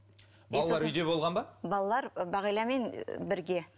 болған ба балалар бағиламен бірге